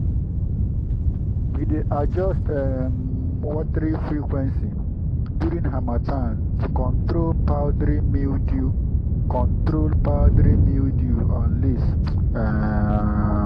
we dey adjust um watering frequency during harmattan to control powdery mildew control powdery mildew on leaves. um